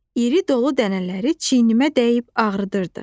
İri dolu dənələri çiynimə dəyib ağrıdırdı.